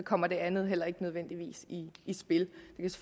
kommer det andet heller ikke nødvendigvis i spil